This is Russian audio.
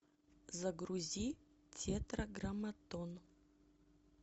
загрузи тетраграмматон